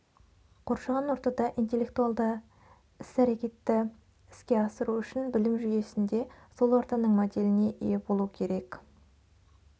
қоршаған ортада интеллектуалды әс-әрекетті іске асыру үшін білім жүйесінде сол ортаның моделіне ие болу керек